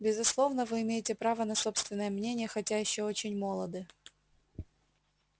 безусловно вы имеете право на собственное мнение хотя ещё очень молоды